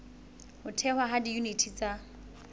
ho thehwa ha diyuniti tsa